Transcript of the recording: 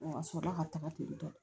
A sɔrɔla ka taga ten tɔ